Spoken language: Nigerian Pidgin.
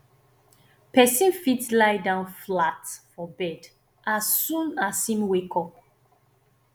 person fit lie down flat for bed as soon as im wake up